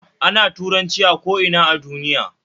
Ana Turanci a ko ina a duniya